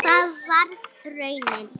Og það varð raunin.